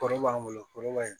Kɔrɔ b'an bolo kɔrɔba in